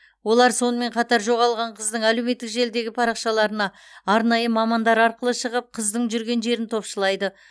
олар сонымен қатар жоғалған қыздың әлеуметтік желідегі парақшаларына арнайы мамандар арқылы шығып қыздың жүрген жерін топшылайды